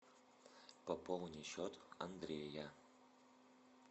пополни счет андрея